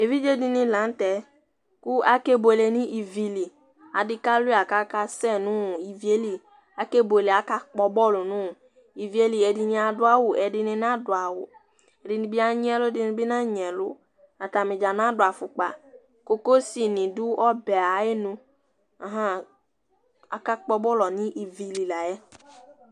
ɛvidzɛdini lɑnutɛku ɑkɛbuɛlɛ nivili ɑdikạluɑ kɑkɑsɛ nu ĩviɛli ɑkɛbuɛlɛ ɑkpo bol nu ĩviɛli ɛdiniɑ duɑwu ɛdini nɑduwu ɛdini ɑɲyiɛlu ɛdini nɑɲyiɛlu ɑtɑnidzɑ nɑduɑfukpɑ cocosinidu ɔbɛ ɑyɛlu ɑhɑ ɑkɑkpo bol nivili lɑyɛ